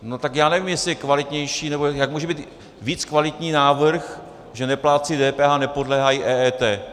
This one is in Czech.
No tak já nevím, jestli je kvalitnější, nebo jak může být víc kvalitní návrh, že neplátci DPH nepodléhají EET.